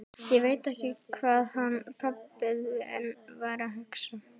Ég veit ekki hvað hann pabbi þinn var að hugsa!